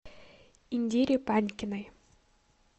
индире панькиной